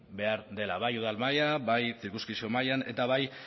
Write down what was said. behar dela bai udal maila bai mailan eta bai